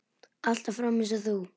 Alltaf fram eins og þú.